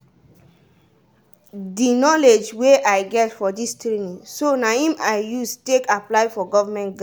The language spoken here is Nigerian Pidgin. di knowledge wey i get for dis training so na i'm i use take apply for govment grant.